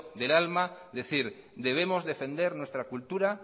del alma decir debemos defender nuestra cultura